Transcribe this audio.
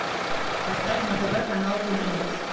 поставь на тв канал киномикс